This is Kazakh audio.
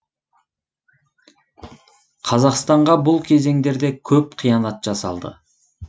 қазақстанға бұл кезеңдерде көп қиянат жасалды